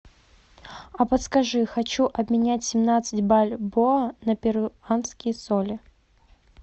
а подскажи хочу обменять семнадцать бальбоа на перуанские соли